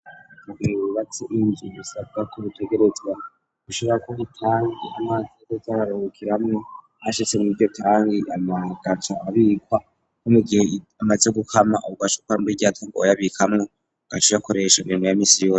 Mu gihe wubatse nk,inzu bisabwa ko bitegerezwa gushirako itangi amazi azoja araruhukiramwo, ahashize niryo tangi mu nyuma agaca abikwa no mugihe amaze gukama ugaca uja muri rya tangi wabikamwo, ugaca uyakoresha imirimo ya minsi yose.